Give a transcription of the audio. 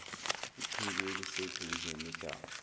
ichibi eliseduze nedamu